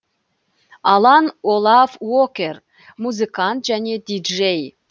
алан олав уокер музыкант және диджей